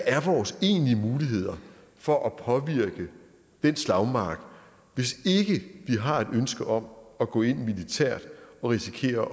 er vores egentlige muligheder for at påvirke den slagmark hvis ikke vi har et ønske om at gå ind militært og risikere at